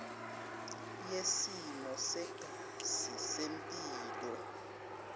yesimo segazi sempilo